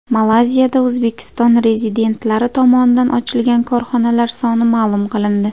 Malayziyada O‘zbekiston rezidentlari tomonidan ochilgan korxonalar soni ma’lum qilindi.